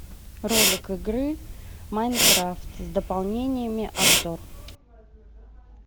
ролик игры майнкрафт с дополнениями обзор